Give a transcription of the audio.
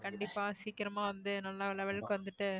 கண்டிப்பா சீக்கிரமா வந்து நல்ல level க்கு வந்துட்டு